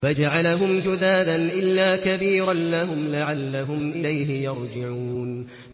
فَجَعَلَهُمْ جُذَاذًا إِلَّا كَبِيرًا لَّهُمْ لَعَلَّهُمْ إِلَيْهِ يَرْجِعُونَ